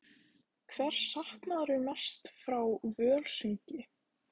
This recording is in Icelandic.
Hvers saknarðu mest frá Völsungi?